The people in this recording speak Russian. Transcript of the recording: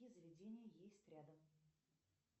какие заведения есть рядом